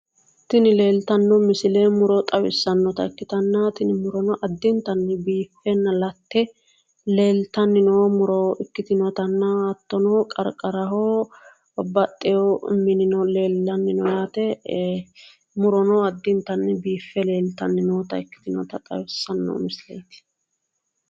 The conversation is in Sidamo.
Tini leeltanno misile muro xawissannota ikkitanna tini murono addintanni biiffenna latte leeltanni noo muro ikkitinotanna hattono qarqaraho babbaxxewo minino leellanni no yaate. Murono addintanni biiffe leeltanni noota ikkitinota xawissanno misileeti.